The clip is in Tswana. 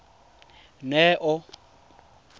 neo